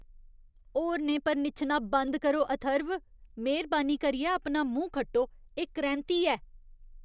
होरनें पर निच्छना बंद करो, अथर्व। मेह्रबानी करियै अपना मूंह् खट्टो। एह् करैंह्ती ऐ।